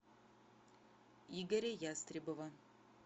игоря ястребова